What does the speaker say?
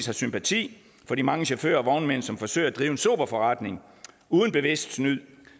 har sympati for de mange chauffører og vognmænd som forsøger at drive en sober forretning uden bevidst snyd